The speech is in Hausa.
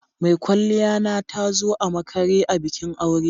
Mai kwalliya na ta zo a makare a bikin aure.